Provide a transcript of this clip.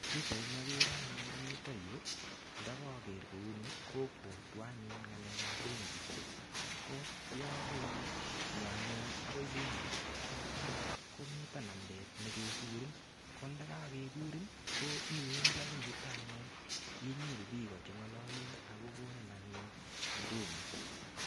Pichaini agere anyun eng yutok yu ndakaker kouni kobwatwoanyun ngalekab benkisiek. Ko yokainyo anyun agoi benkit kocham komito nambeet nekekure. Kondakakekur ko iwendi agoi yuto anyun inyoru biik chengalalun ak kogonin anyun huduma.